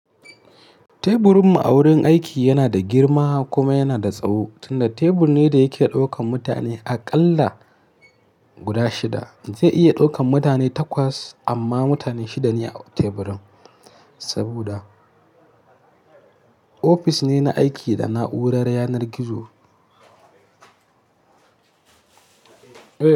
Teburinmu a wurin aiki yana da girma kuma yana da tsawo, tunda tebur ne da yake daukan mutane aƙalla guda shida. Zai iya daukan mutane takwas amma mutane shida ne a teburin, saboda ofis ne na aiki da na'urar yanar gizo.